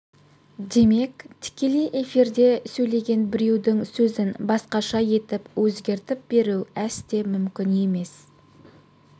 демек тікелей эфирде сөйлеген біреудің сөзін басқаша етіп өзгертіп беру әсте мүмкін емес